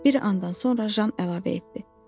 Bir andan sonra Jan əlavə etdi.